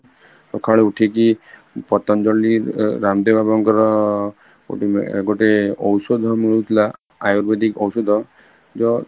ସକାଳୁ ଉଠିକି ପତଞ୍ଜଳି ଅ ରାମଦେବ ବାବାଙ୍କର ଗୋଟେ ଗୋଟେ ଔଷଧ ମିଳୁଥିଲା ଆୟୁର୍ବେଦିକ ଔଷଧ ଯୋଉ